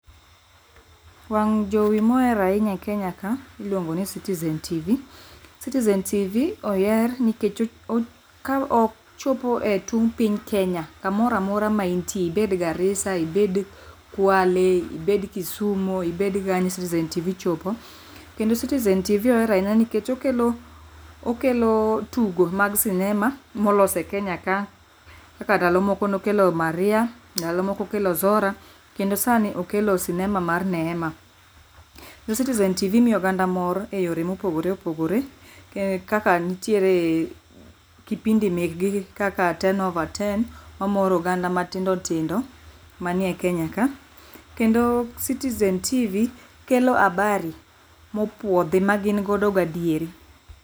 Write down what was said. Wang' jowi moher ahinya e kenya ka iluongo ni citizen tivi. Citizen tivi oher nikech ka ochopo e tung' piny kenya kamora mora ma intie ibed garisa, ibed kwale ibed kisumu, ibed kanye mano citizen tivi kelo kendo citizen tivi oher ahinya nikech okelo okelo tugo mag cinema molos e kenya, kaka ndalo moko nokelo maria, ndalo moko okelo zora kendo sani okelo sinema mar neema. Citizen tivi miyo oganda moro e yore mogogore opogore kaka: ntiere kipindi mekgi gi kaka ten over ten ma moro oganda matindo tindo manie kenya ka kendo, citizen tivi kelo habari mopwodhi ma gin godo gadieri.